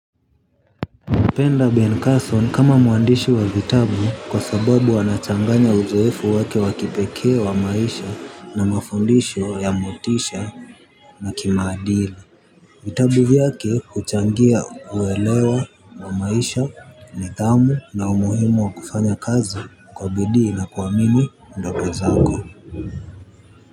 Napenda Ben Carson kama mwandishi wa vitabu kwa sababu anachanganya uzoefu wake wa kipekee wa maisha na mafundisho ya motisha na kimaadili. Vitabu vyake huchangia uelewa wa maisha nidhamu na umuhimu wa kufanya kazi kwa bidii na kuamini ndoto zako.